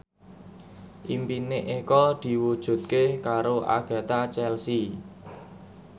impine Eko diwujudke karo Agatha Chelsea